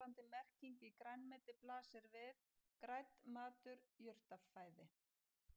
Samsvarandi merking í grænmeti blasir við: grænn matur, jurtafæði.